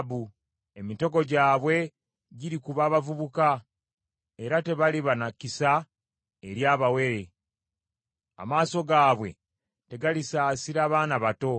Emitego gyabwe girikuba abavubuka era tebaliba na kisa eri abawere. Amaaso gaabwe tegalisaasira baana bato.